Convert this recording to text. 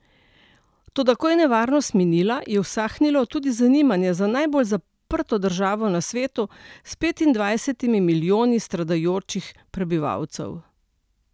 Toda, ko je nevarnost minila, je usahnilo tudi zanimanje za najbolj zaprto državo na svetu s petindvajsetimi milijoni stradajočih prebivalcev.